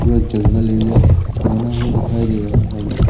पूरा जंगल एरिया बना हुआ दिखाई दे रहा है हमें।